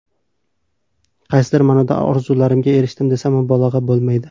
Qaysidir ma’noda orzularimga erishdim desam mubolag‘a bo‘lmaydi.